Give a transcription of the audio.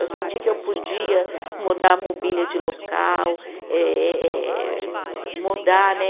Eu senti que eu podia mudar a mobília de local, eh eh mudar, né?